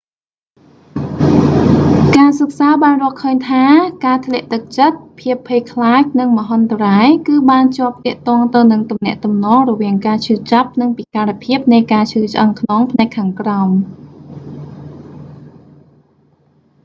ការសិក្សាបានរកឃើញថា ការធ្លាក់ទឹកចិត្ត ភាពភ័យខ្លាចនឹងមហន្តរាយ គឺបានជាប់ទាក់ទងទៅនឹងទំនាក់ទំនងរវាងការឈឺចាប់ និងពិការភាពនៃការឈឺឆ្អឹងខ្នងផ្នែកខាងក្រោម